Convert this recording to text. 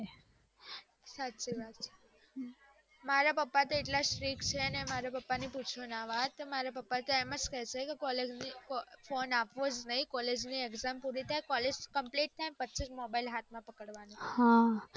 સાચી વાત છે મારા પપ્પા એટલા stick છેને મારા પપ્પા ની પૂછો ના વાત ને મારા પપ્પા કે ક college ની exam અપ્વોજ ની collegecomplete થાય પછીજ phone પહીજ હાથ માં પડવાની